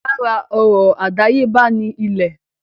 Lára ọrọ̀ àdáyébá ni ilẹ̀.